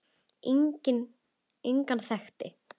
Engan þekkti